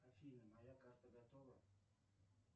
афина моя карта готова